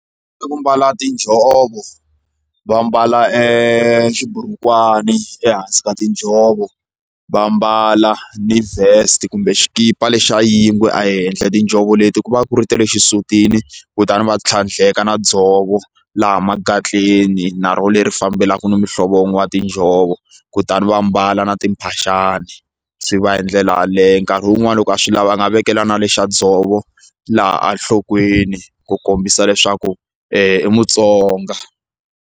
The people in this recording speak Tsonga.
Ku mbala tinjhovo va mbala e xiburukwani ehansi ka tinjhovo va mbala ni vest kumbe xikipa lexa yingwe ehenhla tinjhovo leti ku va ku ri tele xisutini kutani va tlhandleka na dzovo laha makatleni na roho leri fambelaka na muhlovo wa tinjhovo kutani va mbala na timphaxani swi va hindlela yaleyo nkarhi wun'wani loko a swi lava a nga vekela na lexa dzovo laha a enhlokweni ku kombisa leswaku i Mutsonga.